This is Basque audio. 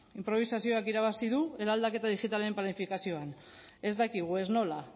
inprobisazioak irabazi du eraldaketa digitalen planifikazioan ez dakigu ez nola